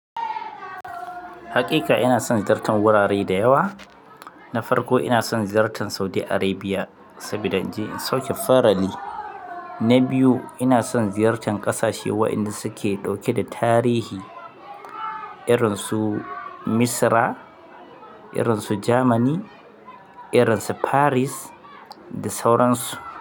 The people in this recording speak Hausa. Hakika ina san ziyartar wurare da yawa. Na farko ina san ziyartar Saudi Arabia saboda in je sauke farali. Na biyu ina son ziyartar ƙasashe waɗanda suke ɗauke da tarihi irin su Misra, irin su Jamani, irin su Paris da sauransu.